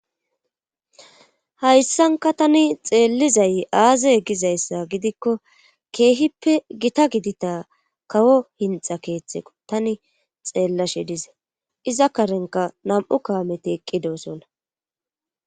hayssanka tani xeellizay aaze egizayssa gidikko keehippe gita gidita kawo hinxa keeththeko tani xeellashe dize iza karenka nam7u kaameti eqqidosonna